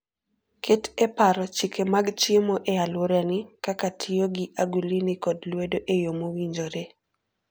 Ket e paro chike mag chiemo e alworani, kaka tiyo gi agulini kod lwedo e yo mowinjore.